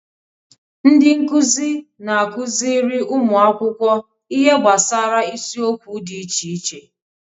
Ndị nkuzi na-akụziri ụmụ akwụkwọ ihe gbasara isiokwu dị iche iche